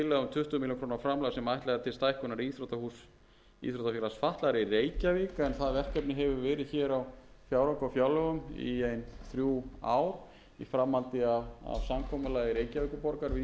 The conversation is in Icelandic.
stækkunar íþróttahúss íþróttafélags fatlaðra í reykjavík en það verkefni hefur verið hér á fjárhags og fjárlögum í ein þrjú ár í framhaldi af samkomulagi reykjavíkurborgar við íþróttafélagið en